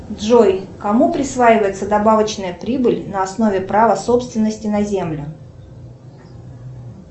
джой кому присваивается добавочная прибыль на основе права собственности на землю